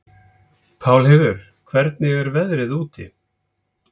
Pálheiður, hvernig er veðrið úti?